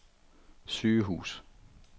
sygehus